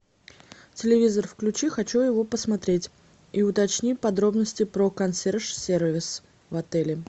телевизор включи хочу его посмотреть и уточни подробности про консъерж сервис в отеле